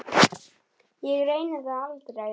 Ég reyni það aldrei.